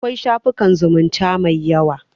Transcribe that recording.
Akwai shafukan zumunta mai yawa.